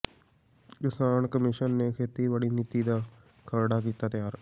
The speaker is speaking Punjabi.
ਕਿਸਾਨ ਕਮਿਸ਼ਨ ਨੇ ਖੇਤੀਬਾੜੀ ਨੀਤੀ ਦਾ ਖਰੜਾ ਕੀਤਾ ਤਿਆਰ